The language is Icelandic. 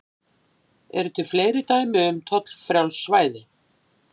Eru til fleiri dæmi um tollfrjáls svæði?